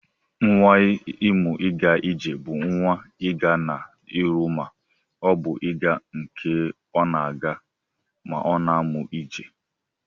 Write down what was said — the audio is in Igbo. Nwa imu iga ije bu nwa iga na iru ma o bu iga nke ọna aga ma ọna amụ ije.